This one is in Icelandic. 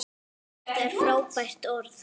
Þetta er frábært orð.